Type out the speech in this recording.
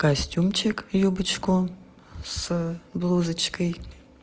костюмчик юбочку с блузочкой